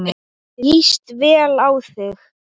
Hvað viljið þið!